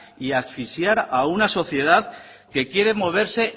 y asfixiar a una sociedad que quiere moverse